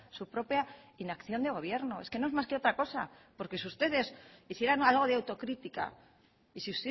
su propia inacción de gobierno es que no es más que otra cosa porque si ustedes hicieran algo de autocrítica y si